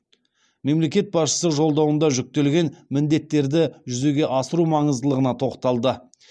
мемлекет басшысы жолдауында жүктелген міндеттерді жүзеге асыру маңыздылығына тоқталды